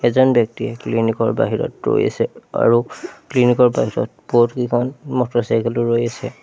এজন ব্যক্তিয়ে ক্লিনিক ৰ বাহিৰত ৰৈ আছে আৰু ক্লিনিক ৰ বাহিৰত বহুত কিখন মটৰচাইকেল ও ৰৈ আছে।